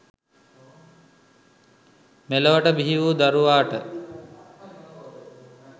මෙලොවට බිහි වූ දරුවාට